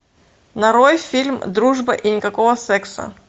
нарой фильм дружба и никакого секса